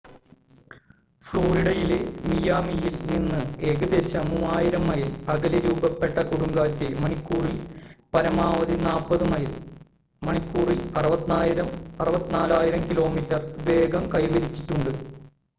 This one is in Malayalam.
ഫ്ലോറിഡയിലെ മിയാമിയിൽ നിന്ന് ഏകദേശം 3,000 മൈൽ അകലെ രൂപപ്പെട്ട കൊടുങ്കാറ്റ് മണിക്കൂറിൽ പരമാവധി 40 മൈൽ മണിക്കൂറിൽ 64 കിലോമീറ്റർ വേഗം കൈവരിച്ചിട്ടുണ്ട്